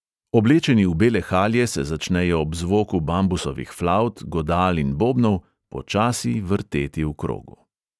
Oblečeni v bele halje se začnejo ob zvoku bambusovih flavt, godal in bobnov počasi vrteti v krogu.